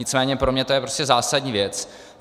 Nicméně pro mě je to prostě zásadní věc.